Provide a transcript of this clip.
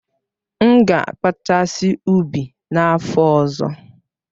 M ga-akpachasi ụbi n'afọ ọzọ.